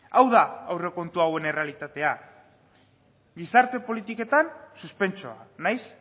hau da aurrekontu hauen errealitatea gizarte politiketan suspentsoa nahiz